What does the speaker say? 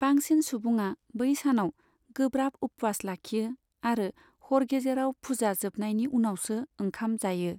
बांसिन सुबुङा बै सानाव गोब्राब उपवास लाखियो आरो हर गेजेराव फुजा जोबनायनि उनावसो ओंखाम जायो।